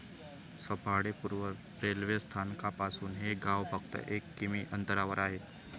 सफाळे पूर्व रेल्वेस्थानकापासून हे गाव फक्त एक किमी अंतरावर आहे.